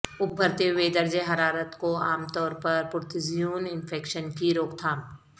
ابھرتے ہوئے درجہ حرارت کو عام طور پر پرتوزیون انفیکشن کی روک تھام